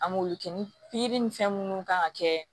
An m'olu kɛ ni pikiri ni fɛn munnu kan ka kɛ